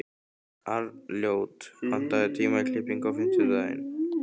Arnljót, pantaðu tíma í klippingu á fimmtudaginn.